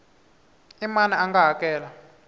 i mani a nga hakela